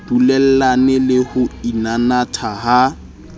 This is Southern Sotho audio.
dulellane le ho inanatha ha